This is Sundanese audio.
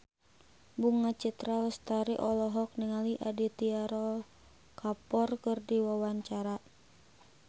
Bunga Citra Lestari olohok ningali Aditya Roy Kapoor keur diwawancara